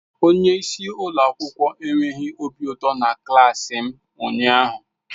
Onye isi ụlọ akwụkwọ enweghị obi ụtọ na klaasi m ụnyaahụ.